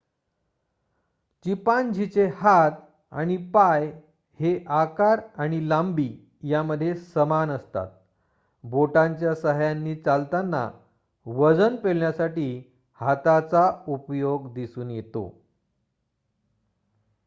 चिंपांझीचे हात आणि पाय हे आकार आणि लांबी मध्ये समान असतात बोटांच्या सहाय्यांनी चालताना वजन पेलण्यासाठी हाताचा उपयोग दिसून येतो